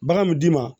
Bagan mi d'i ma